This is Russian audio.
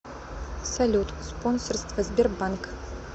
салют спонсорство сбербанк